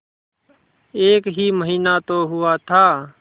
एक ही महीना तो हुआ था